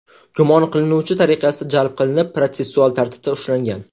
gumon qilinuvchi tariqasida jalb qilinib, protsessual tartibda ushlangan.